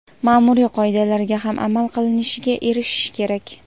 maʼmuriy qoidalarga ham amal qilinishiga erishish kerak.